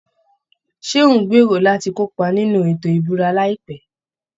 Ṣé ò ń gbèrò láti kópa nínú ètò ìbúra láìpẹ́?